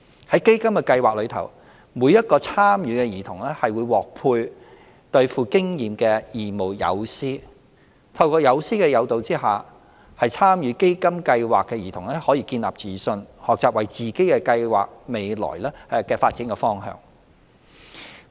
在基金計劃下，每名參與的兒童會獲配對富經驗的義務友師，透過友師的誘導下，參與基金計劃的兒童可以建立自信，學習為自己計劃未來的發展路向。